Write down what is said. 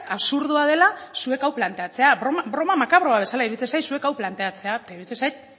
absurdoa dela zuek hau planteatzea broma makabroa bezala iruditzen zait zuek hau planteatzea eta iruditzen zait